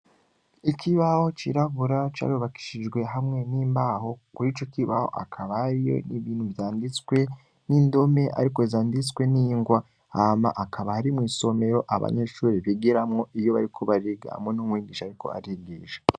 Ikibaho cirabura carobakishijwe hamwe n'imbaho kuri ico kibaho akabariyo n'ibintu vyanditswe n'indome, ariko zanditswe n'ingwa ama akaba harimw isomero abanyeshuri bigiramwo iyo bari kubariga mwuntumwigisha, ariko arigisha.